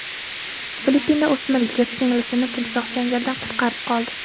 Filippinda o‘smir yigit singlisini timsoh changalidan qutqarib qoldi.